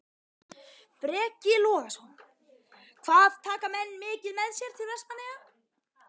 Breki Logason: Hvað taka menn mikið með sér til Vestmannaeyja?